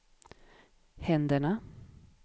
händerna